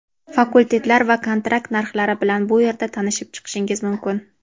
Fakultetlar va kontrakt narxlari bilan bu yerda tanishib chiqishingiz mumkin.